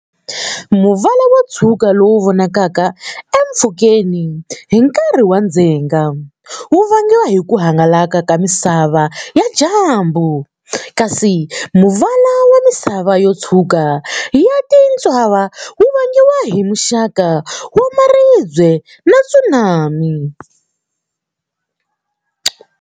Muvala wo tshwuka lowu vonakalaka empfhukeni hi nkarhi wa ndzhenga, wu vangiwa hi ku hangalaka ka miseve ya dyambu, kasi muvala wa misava yo tshwuka ya tintshava wu vangiwa hi muxaka wa maribye ya tsumani.